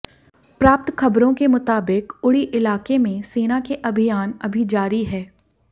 प्राप्त ख़बरों के मुताबिक उड़ी इलाके में सेना के अभियान अभी जारी है